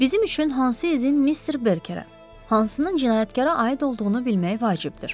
Bizim üçün hansı iznin Mister Berkerə, hansının cinayətkara aid olduğunu bilmək vacibdir.